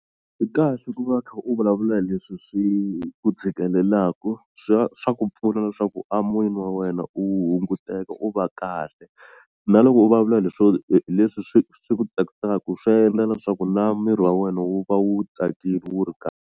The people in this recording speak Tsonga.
Swi kahle ku va kha u vulavula leswi swi ku tshikelelaku swa swa ku pfuna leswaku a moyeni wa wena u hunguteka u va kahle na loko u vulavula leswo hi hi leswi swi swi ku tsakisaku swa yendla na swa ku na miri wa wena wu va wu tsakini wu ri .